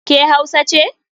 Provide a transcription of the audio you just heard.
Ke Hausa ce?